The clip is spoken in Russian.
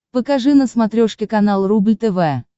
покажи на смотрешке канал рубль тв